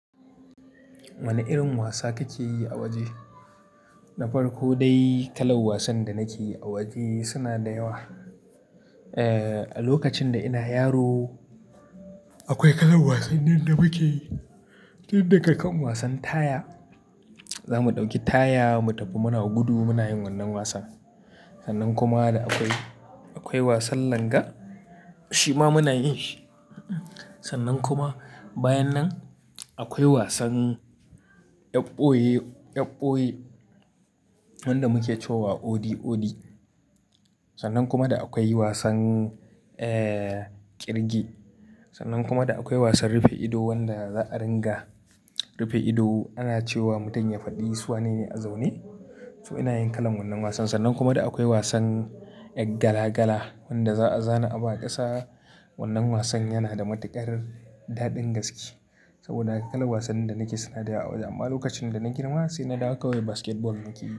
Wane irin wasa kake yi a waje? Na farko dai, kalan wasan da nake yi a waje suna da yawa. Eh, a lokacin da ina yaro akwai kalan wasannin da muke yi. Tun daga kan wasan taya, za mu ɗauki taya mu tafi muna gudu muna yin wannan wasan. Sannan kuma akwai, akwai wasan langa shima muna yin shi. Sannan kuma bayan nan akwai wasan 'yar ɓoye, 'yar boye wanda muke cewa odi odi. Sannan kuma da akwai wasan, eh, ƙirge. Sannan kuma da akwai wasan rufe ido wanda za a ringa rufe ido ana cewa mutum ya faɗi su wane ne a zaune. To ina yin kalan wannan wasan. Sannan kuma da akwai wasan gala gala wanda za a zana abu a ƙasa. Wannan wasan yana da matuƙar daɗin gaske saboda haka ka'an wasannin da nake suna da yawa. Amma lokacin da na girma sai na dawo kawai basketball muke yi.